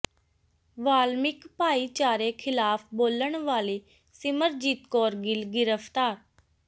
ਵਾਲਮਿਕ ਭਾਈਚਾਰੇ ਖਿਲਾਫ਼ ਬੋਲਣ ਵਾਲੀ ਸਿਮਰਜੀਤ ਕੌਰ ਗਿੱਲ ਗ੍ਰਿਫ਼ਤਾਰ